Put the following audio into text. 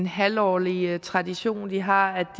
halvårlig tradition de har